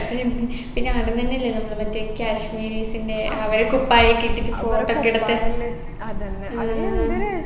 പിന്നെ അടുന്നെന്നെല്ലേ നമ്മൾ മറ്റേ kashmiris ൻെറ അവരെ കുപ്പായൊക്കെ ഇട്ടിട്ട് photo ഒക്കെ എടുത്ത് ഉം